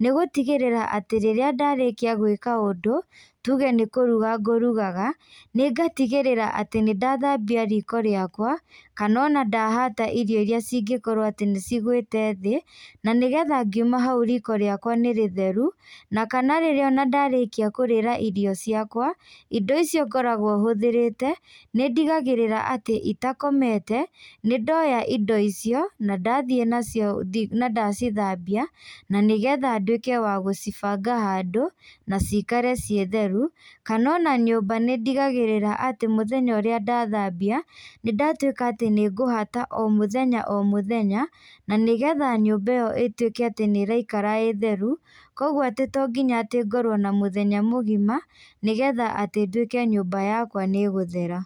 nĩgũtigĩrĩra atĩ rĩrĩa ndarĩkia gwĩka ũndũ, tuge nĩkũruga ngũrugaga, nĩngatigĩrĩra atĩ nĩndathambia riko rĩakwa, kana ona ndahata irio iria cingĩkorwo atĩ nĩcigwĩte thĩ, na nĩgetha ngiuma hau riko rĩakwa nĩ rĩtheru, na kana rĩrĩa ona ndarĩkia kũrĩra irio ciakwa, indo icio ngoragwo hũthĩrĩte, nĩ ndigagĩrĩra atĩ itakomete, nĩ ndoya indo icio, na ndathiĩ nacio nandacithambia, na nĩgetha nduĩke wa gũcibanga handũ, na cikare ciĩ theru, kana ona nyũmba nĩndigagĩrĩra atĩ mũthenya ũrĩa ndathambia, nĩndatuĩka atĩ nĩngũhata o mũthenya o mũthenya, na nĩgetha nyũmba ĩyo ĩtuĩke atĩ nĩiraikara ĩ theru, koguo atĩ to nginya ngorwo na mũthenya mũgima, nĩgetha atĩ nduĩke atĩ nyũmba yakwa nĩgũthera.